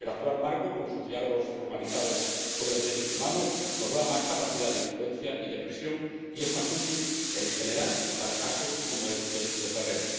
El actual marco, con sus diálogos formalizados sobre derechos humanos, nos da más capacidad de influencia y de presión, y es más útil en general y para casos como este de Ferrer.